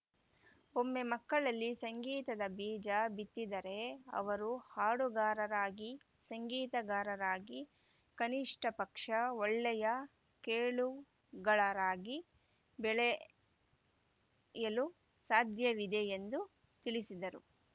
ಒಮ್ಮೆ ಮಕ್ಕಳಲ್ಲಿ ಸಂಗೀತದ ಬೀಜ ಬಿತ್ತಿದರೆ ಅವರು ಹಾಡುಗಾರರಾಗಿ ಸಂಗೀತಗಾರರಾಗಿ ಕನಿಷ್ಠಪಕ್ಷ ಒಳ್ಳೆಯ ಕೇಳುಗಲರಾಗಿ ಬೆಳೆಯಲು ಸಾಧ್ಯವಿದೆ ಎಂದು ತಿಳಿಸಿದರು